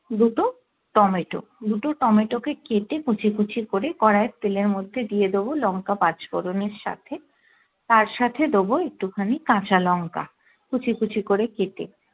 দুটো টমেটো দুটো টমেটো কে কেটে কুচি কুচি করে করাই এর তেলের মধ্যে দিয়ে দেবো লংকা পাঁচফোড়ন এর সাথে তার সাথে দেবো একটু খানি কাঁচা লঙ্কা কুচি কুচি করে কেটে